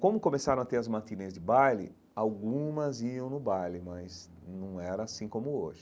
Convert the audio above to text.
Como começaram a ter as matinês de baile, algumas iam no baile, mas num era assim como hoje.